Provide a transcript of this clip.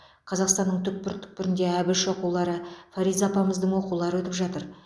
қазақстанның түкпір түкпірінде әбіш оқулары фариза апамыздың оқулары өтіп жатыр